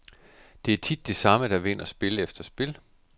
Det er tit de samme, der vinder spil efter spil.